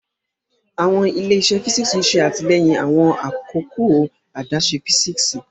Awọn ile-iṣẹ físíksì ṣe atilẹyin awọn akoko adaṣe físíksì.